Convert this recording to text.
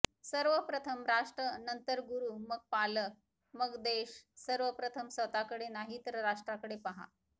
सर्वप्रथम राष्ट्र नंतर गुरू मग पालक मग देव सर्वप्रथम स्वतःकडे नाही तर राष्ट्रकडे पहा